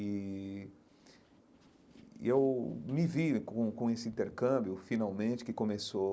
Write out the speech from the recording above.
E e eu me vi com com esse intercâmbio, finalmente, que começou